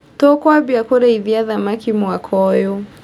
Tũkwambia kũrĩithia thamaki mwaka ũyũ.